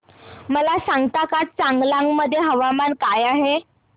मला सांगता का चांगलांग मध्ये तापमान काय आहे